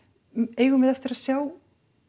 eigum við eftir að sjá